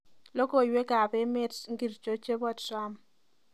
Logoywekab emet ngircho chebo trump